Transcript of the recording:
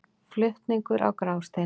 Flutningur á Grásteini.